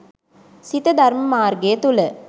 සිත ධර්ම මාර්ගය තුළ